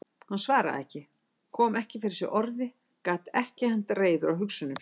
Hann svaraði ekki, kom ekki fyrir sig orði, gat ekki hent reiður á hugsunum sínum.